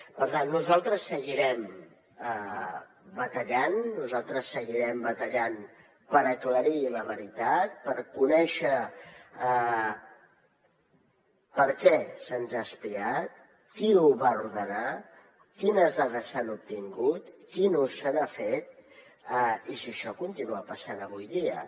per tant nosaltres seguirem batallant nosaltres seguirem batallant per aclarir la veritat per conèixer per què se’ns ha espiat qui ho va ordenar quines dades s’han obtingut quin ús se n’ha fet i si això continua passant avui dia